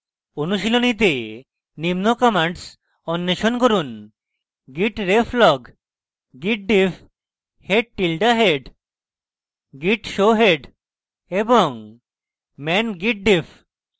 অনুশীলনীতে নিম্ন commands অন্বেষণ করুন